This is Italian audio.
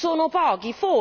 Sono pochi?